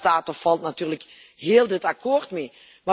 Daar staat of valt natuurlijk heel dit akkoord mee.